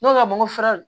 Ne ko a ma n ko furaw